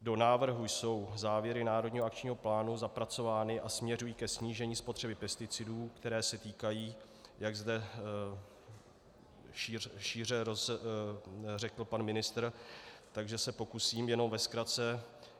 Do návrhu jsou závěry národního akčního plánu zapracovány a směřují ke snížení spotřeby pesticidů, které se týkají, jak zde šíře řekl pan ministr, takže se pokusím jenom ve zkratce.